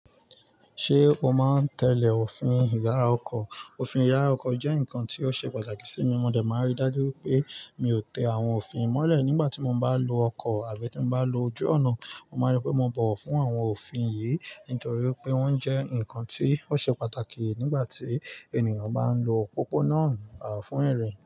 Ṣé o máa ń tẹ́lẹ̀ òfin ìyará ọkọ̀? Òfin ìyará ọkọ̀ jẹ́ nǹkan tó ṣe pàtàkì sí mi. Mọ̀ dẹ máa n rí dájú pé mi ò tẹ àwọn òfin mọ́lẹ̀ nígbà tí mo bá ń lo ọkọ̀ àbí tí mo bá ń lo ojú ọ̀nà. Mo máa rí pé mo bọ̀wọ̀ fún àwọn òfin yìí nítorí pé wọ́n jẹ́ ǹkan tí ó ṣe pàtàkì nígbà tí ènìyàn bá ń lo òpópó-ọ̀nà fún ìrìn.